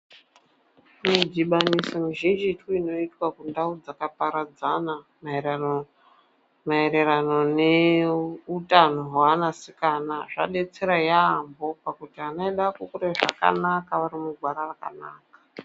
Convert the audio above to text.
Zvidhibaniso zvizhinji zvinoitwa kundau dzakaparadzana maererana neutano hweanasikana, zvadetsera yaamho pakuti vana vedu vari kukura zvakanaka vari mugwara rakanaka.